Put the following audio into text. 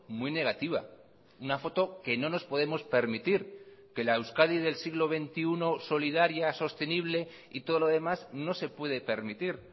muy negativa una foto que no nos podemos permitir que la euskadi del siglo veintiuno solidaria sostenible y todo lo demás no se puede permitir